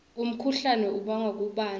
umkhuhlane ubangwa kubandza